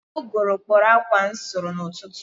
Ụgụrụ kpọrọ akwa m sụrụ n'ụtụtụ